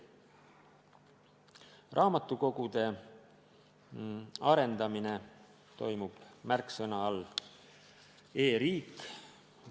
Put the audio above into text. Raamatukogude arendamine toimub märksõna all "e-riik".